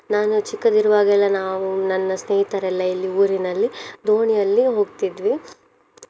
ನಾನು ಚಿಕ್ಕದಿರುವಾಗ ಎಲ್ಲ ನಾವು ನನ್ನ ಸ್ನೇಹಿತರೆಲ್ಲ ಇಲ್ಲಿ ಊರಿನಲ್ಲಿ ದೋಣಿಯಲ್ಲಿ ಹೋಗ್ತಿದ್ವಿ.